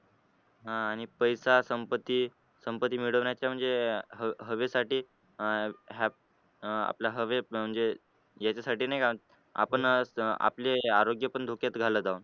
अं आणि पैसा संपत्ती संपत्ती मिळवण्याचे म्हणजे हवेसाठी अं आपल्या हवे अं म्हणजे याच्यासाठी नाही का आपले आरोग्य पण धोक्यात घालत आहोत